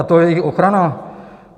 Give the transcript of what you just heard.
A to je jejich ochrana?